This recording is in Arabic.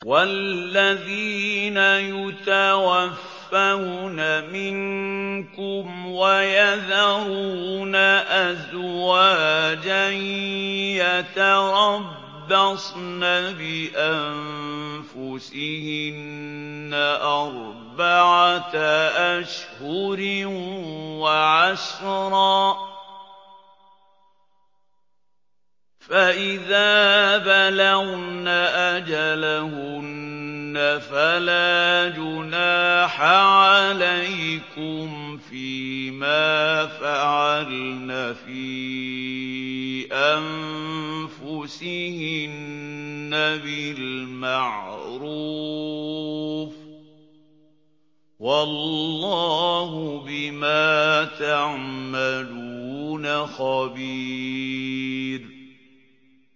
وَالَّذِينَ يُتَوَفَّوْنَ مِنكُمْ وَيَذَرُونَ أَزْوَاجًا يَتَرَبَّصْنَ بِأَنفُسِهِنَّ أَرْبَعَةَ أَشْهُرٍ وَعَشْرًا ۖ فَإِذَا بَلَغْنَ أَجَلَهُنَّ فَلَا جُنَاحَ عَلَيْكُمْ فِيمَا فَعَلْنَ فِي أَنفُسِهِنَّ بِالْمَعْرُوفِ ۗ وَاللَّهُ بِمَا تَعْمَلُونَ خَبِيرٌ